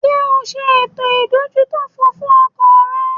Ṣé o ṣe ètò ìdójútòfò fún ọkọ̀ rẹ?